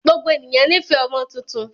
Gbogbo ènìyàn ní fẹ̀ ọmọ tuntun